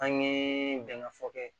An ye bɛnkan fɔ kɛ